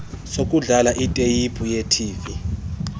sokudlala iteyiphu yetv